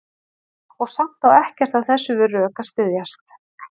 Og samt á ekkert af þessu við rök að styðjast.